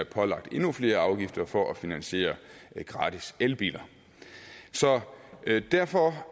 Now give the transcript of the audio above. pålagt endnu flere afgifter for at finansiere gratis elbiler derfor